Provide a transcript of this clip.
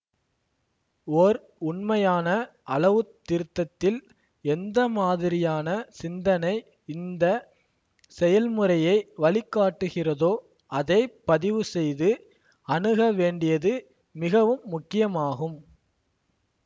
ஓர் உண்மையான அளவு திருத்தத்தில் எந்தமாதிரியான சிந்தனை இந்த செயல்முறையை வழிகாட்டுகிறதோ அதை பதிவுசெய்து அணுக வேண்டியது மிகவும் முக்கியமாகும்